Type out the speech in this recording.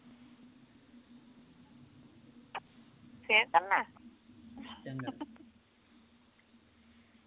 ਫੇਰ ਕਰਨਾ